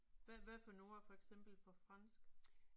Hvad hvad for nogle ord er for eksempel fra fransk?